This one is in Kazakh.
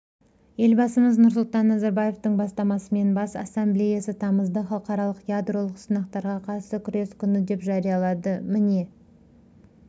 елбасымыз нұрсұлтан назарбаевтың бастамасысымен бас ассамблеясы тамызды халықаралық ядролық сынақтарға қарсы күрес күні деп жариялады міне